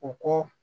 U ko